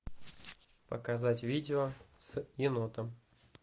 показать видео с енотом